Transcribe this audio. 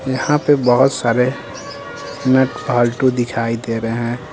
यहां पे बहुत सारे नट दिखाई दे रहे हैं।